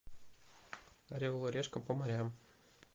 орел и решка по морям